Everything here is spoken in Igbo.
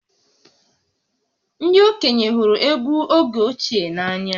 Ndị okenye hụrụ egwú oge ochie n’anya